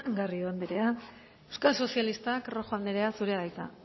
garrido anderea euskal sozialistak rojo anderea zurea da hitza